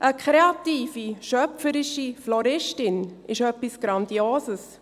Eine kreative, schöpferische Floristin ist etwas Grandioses.